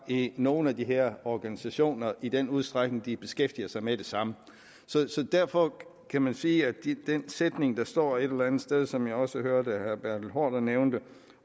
i nogle af de her organisationer i den udstrækning de beskæftiger sig med det samme så derfor kan man sige at den sætning der står et eller andet sted og som jeg også hørte herre bertel haarder nævnte